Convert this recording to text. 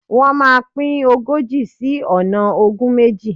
Wọ́́n máa pín ogójì sí ọ̀nà ogún méjì.